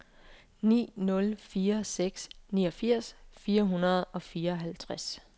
ni nul fire seks niogfirs fire hundrede og fireoghalvtreds